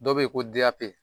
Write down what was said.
Dɔw bɛ yen ko D.A.P